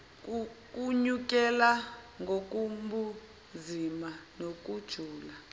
kwenyukela ngokobunzima nokujula